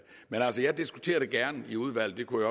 altså jeg diskuterer det gerne i udvalget det kunne